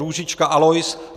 Růžička Alois